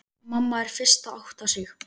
Mamma er fyrst að átta sig